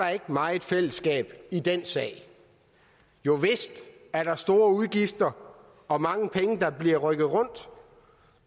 meget fællesskab i den sag jo vist er der store udgifter og mange penge der bliver rykket rundt